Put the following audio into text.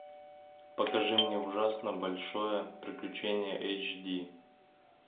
покажи мне ужасно большое приключение эйч ди